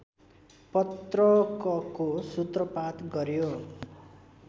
पत्रकको सूत्रपात गर्‍यो